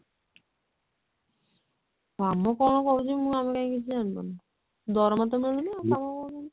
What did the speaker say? କାମ କଣ କରୁଛି ମୁଁ ଆଉ କାଇଁ କିଛି ଜାଣି ପାରୁନି ଦରମା ତ ମିଳୁନି ଆଉ କାମ କଣ